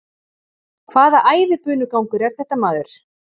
Hvaða æðibunugangur er þetta maður?